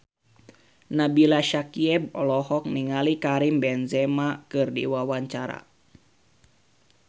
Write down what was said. Nabila Syakieb olohok ningali Karim Benzema keur diwawancara